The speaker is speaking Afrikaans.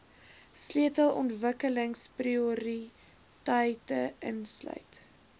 sleutel ontwikkelingsprioriteite insluit